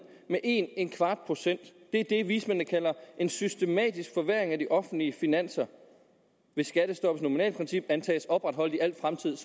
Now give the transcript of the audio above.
med 1¼ procent det er det vismændene kalder en systematisk forværring af de offentlige finanser hvis skattestoppets nominalprincip antages opretholdt i al fremtid